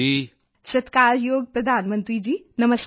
ਭਾਵਨਾ ਸਤਿਕਾਰਯੋਗ ਪ੍ਰਧਾਨ ਮੰਤਰੀ ਜੀ ਨਮਸਕਾਰ